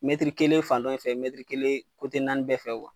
kelen fan dɔn in fɛ, kelen naani bɛɛ fɛ